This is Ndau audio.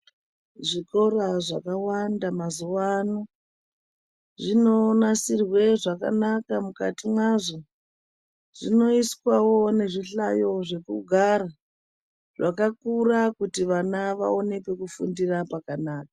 Zvikora zvakawanda mazuwa ano zvinonasirwa zvakanaka mukati mwazvo, zvinoiswawo nezvihlayo zvekugara zvakakura kuti vana vaone pekufundira pakanaka.